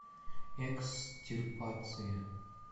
экстирпация